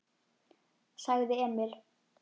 sagði Emil.